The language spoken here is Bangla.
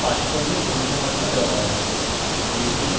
যারা online পরীক্ষা pass করে তাদের প্রশংসাপত্র দেওয়া হয়